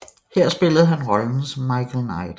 Her spillede han rollen som Michael Knight